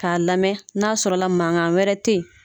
K'a lamɛn n'a y'a sɔrɔla mankan wɛrɛ te yen